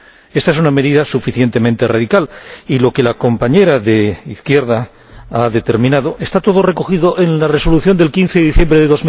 Esta es una medida suficientemente radical y lo que la compañera del Grupo GUE NGL ha apuntado está todo recogido en la Resolución del 15 de diciembre de